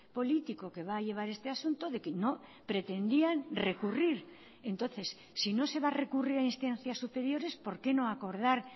político que va a llevar este asunto de que no pretendían recurrir entonces si no se va a recurrir a instancias superiores por qué no acordar